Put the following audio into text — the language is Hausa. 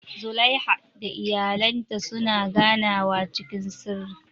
Zulaiha da iyalinta suna ganawa cikin sirri.